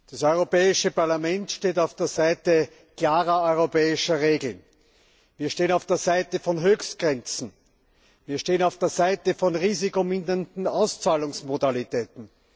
Das Europäische Parlament steht auf der Seite klarer europäischer Regeln. Wir stehen auf der Seite von Höchstgrenzen. Wir stehen auf der Seite von risikomindernden Auszahlungsmodalitäten.